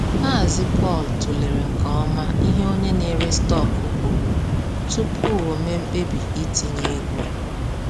Mazị Paul tụlere nke ọma ihe onye na-ere stọkụ kwuru tupu o mee mkpebi itinye ego.